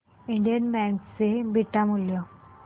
Indian bank चे beta मूल्य